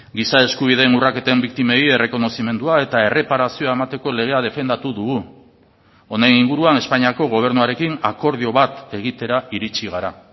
giza eskubideen urraketen biktimei errekonozimendua eta erreparazioa emateko legea defendatu dugu honen inguruan espainiako gobernuarekin akordio bat egitera iritsi gara